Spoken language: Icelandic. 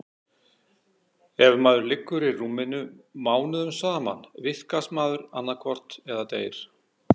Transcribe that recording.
Ef maður liggur í rúminu mánuðum saman vitkast maður annaðhvort eða deyr.